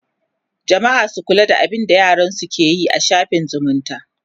jamma'a su kula da abinda yaransu keyi a shaffin zumunta